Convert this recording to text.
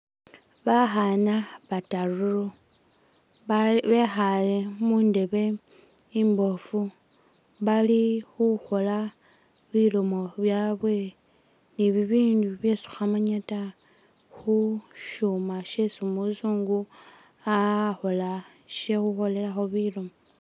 Bakhaana bataru ba bekhale mundebe imboofu bali khukhola bilomo byabwe ni bibindi bisi khukhamanya ta khushuma sisi umuzungu akhola she'khukholelakho bilomo